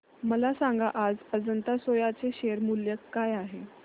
मला सांगा आज अजंता सोया चे शेअर मूल्य काय आहे